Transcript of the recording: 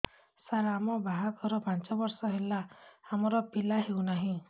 ସାର ଆମ ବାହା ଘର ପାଞ୍ଚ ବର୍ଷ ହେଲା ଆମର ପିଲା ହେଉନାହିଁ